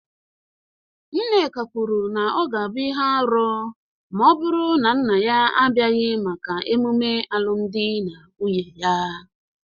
Nneka kwuru na ọ ga-abụ ihe arụ ma ọ bụrụ na nna ya abịaghị maka ememe alụmdi na nwunye ya,